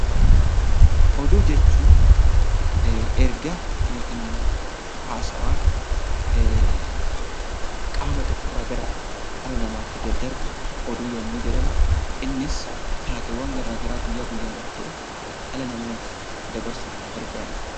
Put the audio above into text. Oduu jechuun ergaa yookaan haasawaa qaama tokko irraa gara qaama biraatti daddarbu oduu yommuu jedhamu, innis taateewwan gara garaa guyyaa guyyaan ta'u dhala namaaf dabarsuuf kan gargaarudha.